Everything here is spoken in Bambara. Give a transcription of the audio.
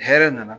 Hɛrɛ nana